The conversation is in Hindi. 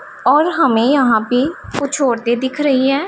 और हमें यहां पे कुछ औरते दिख रही है।